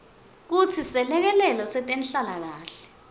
kutsi selekelelo setenhlalakanhle